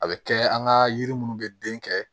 A bɛ kɛ an ka yiri minnu bɛ den kɛ